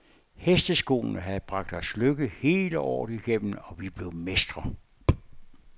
Hesteskoene havde bragt os lykke hele året igennem, og vi blev mestre.